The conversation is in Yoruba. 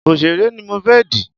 Òsèré ni mo fẹ́ dì